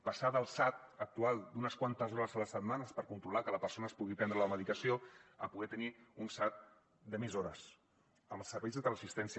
passar del sad actual d’unes quantes hores a la setmana per controlar que la persona es pugui prendre la medicació a poder tenir un sad de més hores amb serveis de teleassistència